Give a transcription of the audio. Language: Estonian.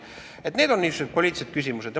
Need on niisugused poliitilised küsimused.